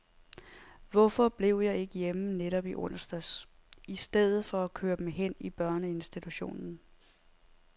Hvorfor blev jeg ikke hjemme netop i onsdags, i stedet for at køre dem hen i børneinstitutionen.